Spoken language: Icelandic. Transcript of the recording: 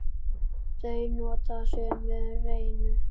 Þau nota sömu rennu.